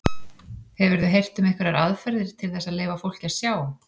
Hefurðu heyrt um einhverjar aðferðir til þess að leyfa fólki að sjá?